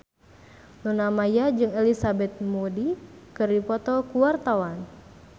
Luna Maya jeung Elizabeth Moody keur dipoto ku wartawan